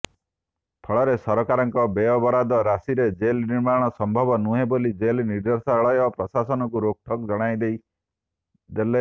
ଫଳରେ ସରକାରଙ୍କ ବ୍ୟୟବରାଦ ରାଶିରେ ଜେଲ୍ ନିର୍ମାଣ ସମ୍ଭବ ନୁହେଁ ବୋଲି ଜେଲ୍ ନିର୍ଦ୍ଦେଶାଳୟ ପ୍ରଶାସନକୁ ରୋକଠୋକ୍ ଜଣାଇଦେଲେ